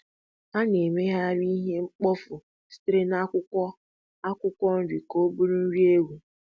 A-na emeghari ihe mkpofu sitere na akwụkwọ akwụkwọ nri ka ọbụrụ nri ewu.